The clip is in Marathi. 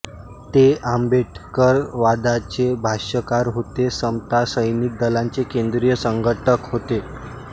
ते आंबेडकरवादाचे भाष्यकार होते समता सैनिक दलाचे केंद्रीय संघटक होते